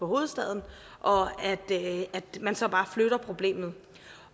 hovedstaden og at man så bare flytter problemet